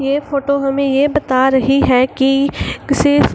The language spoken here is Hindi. ये फोटो हमे ये बता रही है की किसे --